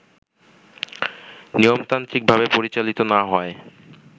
নিয়মতান্ত্রিকভাবে পরিচালিত না হওয়ায়